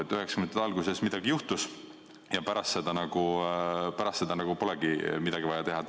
1990‑ndate alguses midagi juhtus ja pärast seda nagu polegi midagi vaja teha.